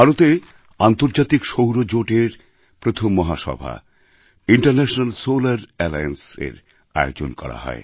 ভারতে আন্তর্জাতিক সৌর জোটএর প্রথম মহাসভা ইন্টারন্যাশনাল সোলার Allianceএর আয়োজন করা হয়